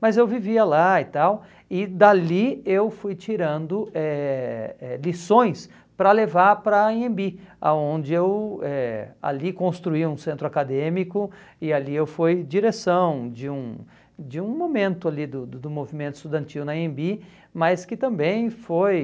mas eu vivia lá e tal, e dali eu fui tirando eh eh lições para levar para a Anhembi, onde eu eh ali construí um centro acadêmico e ali eu fui direção de um de um momento ali do do do movimento estudantil na Anhembi, mas que também foi...